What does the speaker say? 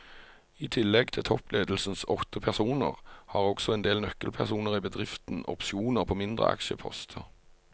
I tillegg til toppledelsens åtte personer har også en del nøkkelpersoner i bedriften opsjoner på mindre aksjeposter.